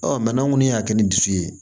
Ɔ n'an kɔni y'a kɛ ni dusu ye